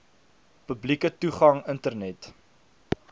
publieke toegang internet